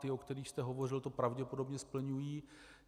Ty, o kterých jste hovořil, to pravděpodobně splňují.